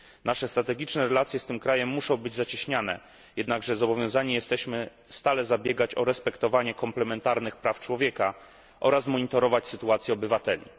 Nasze strategiczne relacje z tym krajem muszą być zacieśniane, jednakże zobowiązani jesteśmy stale zabiegać o respektowanie komplementarnych praw człowieka oraz monitorować sytuację obywateli.